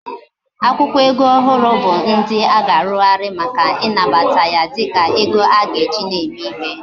Akwukwo ego ndi ohu bu ndi aga arughari Maka inabata ya dika ego aga eji na eme ihe